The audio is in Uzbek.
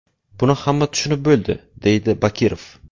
Buni hamma tushunib bo‘ldi”, deydi Bakirov.